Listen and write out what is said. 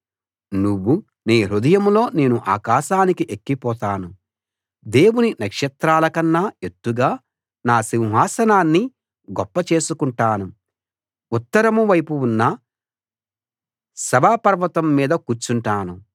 నువ్వు నీ హృదయంలో నేను ఆకాశానికి ఎక్కిపోతాను దేవుని నక్షత్రాలకన్నా ఎత్తుగా నా సింహాసనాన్ని గొప్ప చేసుకుంటాను ఉత్తరం వైపు ఉన్న సభాపర్వతం మీద కూర్చుంటాను